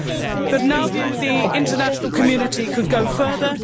In our view, the international community could go further.